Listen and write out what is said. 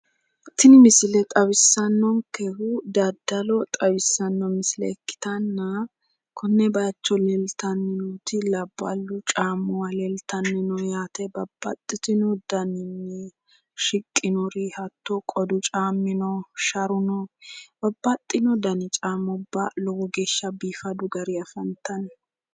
Tini misile xawissanonkehu dadalo xawisanno Misile ikkitanna konne baaycho leltanni nooti Labballu caamuwa leltanni no yaate babaxitino Daninni shiqinor hatono qodu caami noo, sharu No babaxino dani caamubba lowo geesha biifadu Gary afanttanno